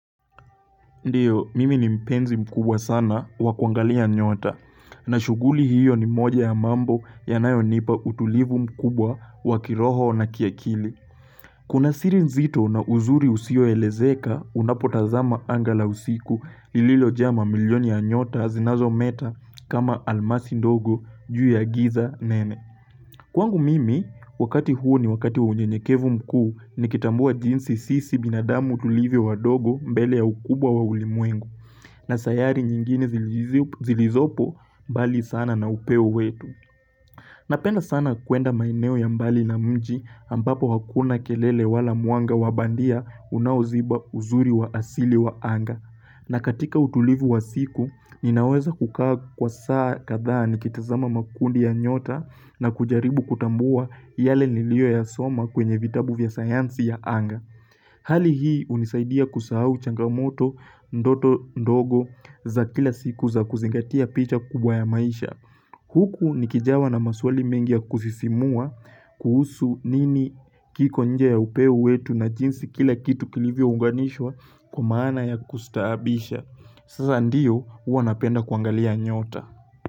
Ndiyo, mimi ni mpenzi mkubwa sana wakuangalia nyota, na shughuli hiyo ni moja ya mambo ya nayonipa utulivu mkubwa wakiroho na kiakili. Kuna sirin zito na uzuri usio elezeka unapotazama angala usiku lililo jama milioni ya nyota zinazo meta kama almasi ndogo juu ya giza nene. Kwangu mimi, wakati huu ni wakati wa unye nyekevu mkuu, nikitambua jinsi sisi binadamu tulivyo wa dogo mbele ya ukubwa wa ulimwengu, na sayari nyingine zilizopo mbali sana na upeo wetu. Napenda sana kwenda maineo ya mbali na mji ambapo hakuna kelele wala mwanga wabandia unaoziba uzuri wa asili wa anga. Na katika utulivu wa siku, ninaweza kukaa kwa saa kathaa ni kitazama makundi ya nyota na kujaribu kutambua yale nilio ya soma kwenye vitabu vya sayansi ya anga. Hali hii unisaidia kusahau changamoto ndoto ndogo za kila siku za kuzingatia picha kubwa ya maisha. Huku ni kijawa na maswali mengi ya kusisimua kuhusu nini kiko nje ya upeu wetu na jinsi kila kitu kilivyo unganishwa kwa maana ya kustaabisha. Sasa ndiyo huwa napenda kuangalia nyota.